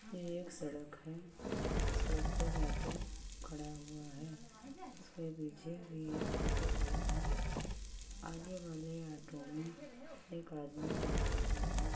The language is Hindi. ये एक सड़क है। सड़क पर आटो खड़ा हुआ है। इसके पीछे भी एक आटो खड़ा है। आगे वाले आटो में एक आदमी बैठा हुआ है।